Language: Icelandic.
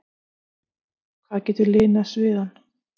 hvað getur linað sviðann?